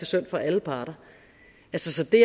synd for alle parter så det